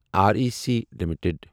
R E C limited